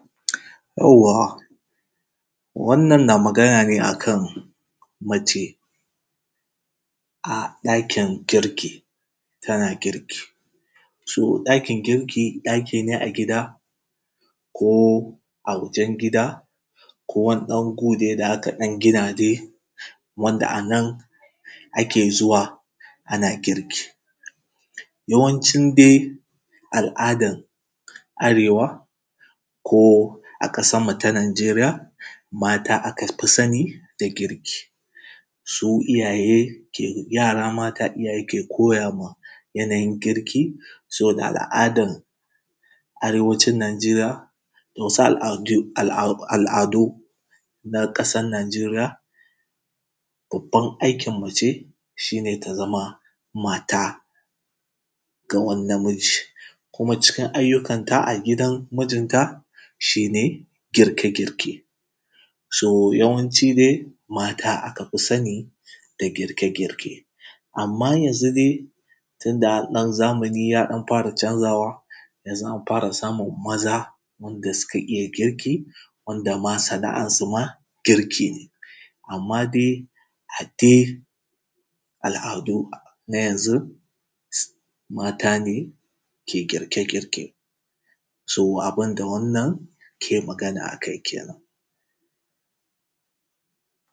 Yauwa wannan na magana ne akan mace a dakin girki tana girki. So ɗakin girki ɗaki ne a gida ko a waʤen gida ko wani ɗan gu da aka ɗan gina dai wanda anan ake zuwa ana girki. Yawanci dai al’adan arewa ko a ƙasarmu ta nijeriya mata aka fi sani da girki su iyaye yara mata iyaye ke koyama yana yin girki sobada al’adan arewacin nijeriya da wasu al’adu na ƙasan nijeriya babban aikin nace shi ne ta zama mata ga wani namiji kuma cikin ayyukanta a gidan mijinta shi ne girke girke. So yawanci dai mata aka fi sani da girke girke, amma yanzu dai tunda a ɗan zamani, zamani ya ɗan fara canzawa yanzu an fara samun maza wanda suka iya girki wanda ma sana’ansu ma girki ne, amma dai adai al’adu na yanzu mata ne ke girke girke so abun da wannan ke magana akai kene.